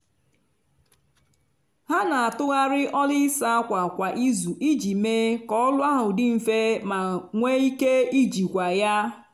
ha n'atụgharị ọlụ ịsa ákwà kwa izu iji mee ka ọlụ ahụ dị nfe ma nwe ike ijikwa ya.